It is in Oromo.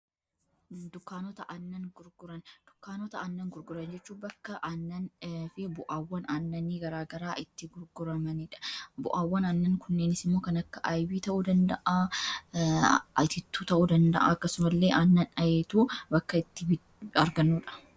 dukaanota annan gurgurajechuu bakka annan fi bu'aawwan annani garaagaraa itti gurguramaniidha bu'aawwan annan kunneensimoo kan akka ayibii ta'uu danda'aa ayitittuu ta'uu danda'a akkasumallee annan ayituu bakka itti arganuudha